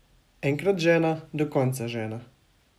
Enkrat žena, do konca žena.